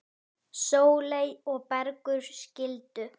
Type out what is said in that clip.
Sóley og Bergur skildu.